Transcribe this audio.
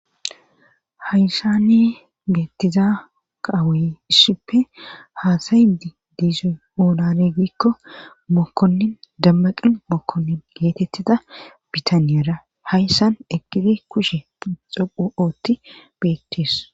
Hayssani geettiza kaawoy issippe haasayidi diizoy oonaregikko mokkonnin dammaqin mokkonnin geetettida bitaniyara hayssan ekiti kushe xoqu ootti beetis.